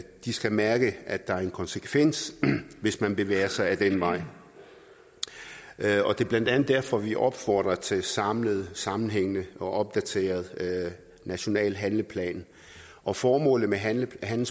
de skal mærke at der er en konsekvens hvis man bevæger sig ad den vej det er blandt andet derfor at vi opfordrer til en samlet sammenhængende og opdateret national handleplan og formålet med handleplanen